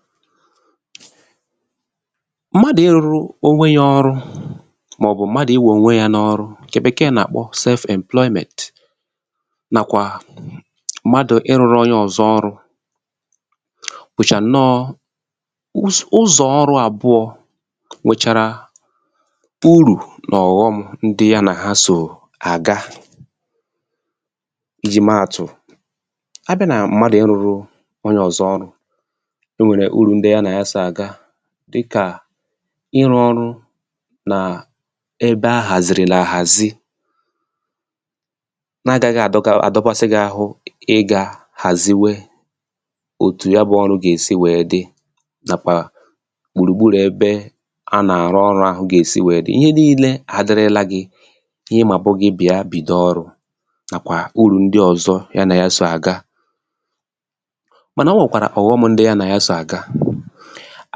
file 118 mmadụ̀ irūru onwe ya ọrụ mà ọ̀ bụ̀ mmadụ̀ iwè ònwe ya n’ọrụ ǹkẹ Bẹ̀kẹ̀ẹ̀ nà àkpọ self emploịmẹnt nàkwà mmadu ịrụ̄rụ onye ọ̀zọ ọrụ̄ bụ̀chà ǹnọ ụzọ̀ ọrụ̄ àbụọ nwèchàrà urù nà ọ̀ghọm ndị ya nà ha sò àga ijì mẹ àtụ̀ a bịà nà mmadù ịrụ̄rụ onye ọ̀zọ ọrụ̄ e nwèrè urù ndị ya nà ya sò àga dịkà ịrụ ọrụ nà ebe a hàzìrìlà àhàzi na agaghị àdogbasị gị ahụ ị ga hàziwe òtù ya bụ ọtụ gà èsi wẹ̀ẹ dị nàkwà gbùrù gburù ebe a nà àrụ ọrụ̄ ahụ̀ gà èsi wẹ̀ẹ dị ihe nille àdịrịla gị ihẹ ị mà bụ̀ gị bịa bìdo ọrụ nàkwà urù ndị ọzọ ya nà ya sò àga mànà ọ nwẹ̀kwàrà ọ̀ghọm ndị nà ya sò àga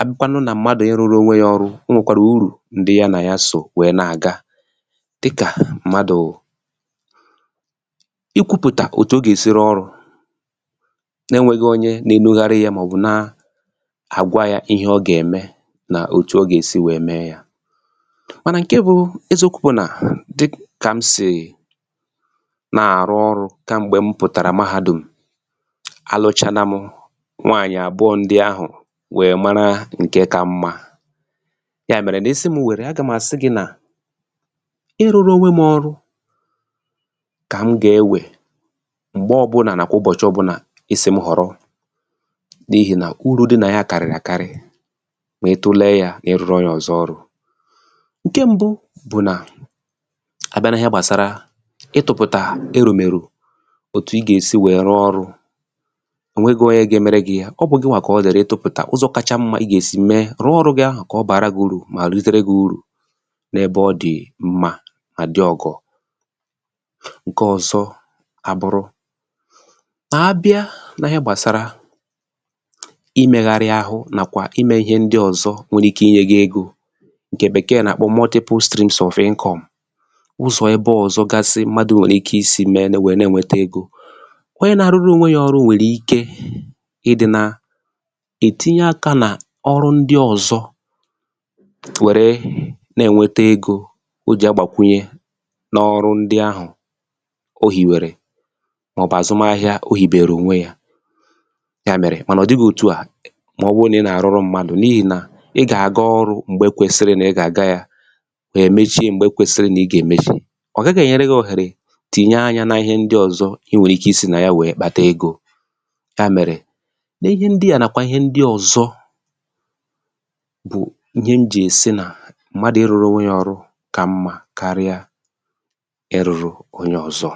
a bịakwanụ na mmadù I rụrụ onwe ya ọrụ o nwèkwàrà urù ndị y anà ya sò we nà àga dịkà mmadù ikwūpùtà òtù o gà èsi rụọ ọrụ̄ na ẹ nwẹghị onye na enugharị yā mà ọ̀ bụ na agwa ya ịhẹ ọ gà ẹ̀mẹ̀ nà òtù ọ gà èsi mẹ ya mànà ǹke bụ eziokwu bụ̀ nà dịkà m sì nà àrụ ọrụ kẹ̀mgbẹ̀ m pụ̀tarà Mahādùm a lụchana m nwanyị abụọ ndị ahụ̀ wẹ mara ǹkẹ ka mmā yà mẹrẹ nà ị sị m wẹ̀rẹ̀ a gà m̀ àsị gị nà ị rụrụ onwe m ọrụ kà m gà ewè m̀gbẹ ọ bụlà nà ụbọ̀chị ọbụnà ị sì m họ̀rọ n’ihì nà urū dị nà ya kàrị̀rị̀ àkarị mà itule ya ị rụrụ onye ọzọ ọrụ̄ ǹkẹ mbụ bụ̀ nà a bịa n’ịhẹ gbàsara itụ̄pụtà ǹkẹ erùmèrù òtù ị gà èsi wẹ rụọ ọrụ̄ ọ nwẹghị onye ga emere gị ya ọ bụ gịwa kà ọ dịrị ị tụpụ̀tà ụzọ kacha mmā ị gà èsi mẹ rụọ ọrụ gị ahụ̀ kà ọ bara gi urù mà rutere gi urù n’ebe ọ dị̀ mmā mà dị ọ̀gọ̀ ǹkẹ ọzọ a bụrụ nà a bịa na ịhẹ gbàsara ịmẹgharị ahụ nàkwà ịmẹ ịhẹ ndị ọzọ nwẹrẹ ike ịnyẹ gị egō ǹkẹ̀ Bẹ̀kẹ̀ẹ̀ nà àkpọ mọtịpụ strịms of ịnkọ̀m onye na arụrụ onwe ya ọrụ nwèrè ike ị dị na ètinye akā nà ọrụ ndị ọzọ wère nà ẹ̀ nwẹtẹ egō o jì agbàkwunye n’ọrụ ndị ahụ̀ ohìwèrè mà ọ̀ bụ̀ àzụmahịa o hìbèrè ònwe ya yà mẹ̀rẹ̀ mà nà ọ̀ dịghị otua mà ọ wụ nà ị na àrụrụ mmadù n’ihì nà ị gà àga ọrụ̄ m̀gbè ị kwèsị̀rị nà ị gā ya gà èmechi m̀gbẹ̀ kwẹsị nà ị gà èmechi ọ̀ gaghị ẹ̀nyẹrẹ gị òhẹ̀rẹ̀ tìnye anyā na ịhẹ ndị ọ̀zọ ị nwẹ̀rẹ̀ ike ịsī nà ya wẹ kpata egō yà mẹ̀rẹ̀ ihẹ ndịà nàkwa ịhẹ ndị ọzọ bụ̀ ndị m jì sị nà mmadu ị rụrụ onwe ya ọrụ kà mmā karịa ị rụrụ onye ọzọ